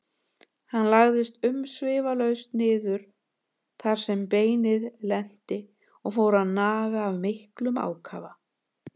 Hann lagðist umsvifalaust niður þar sem beinið lenti og fór að naga af miklum ákafa.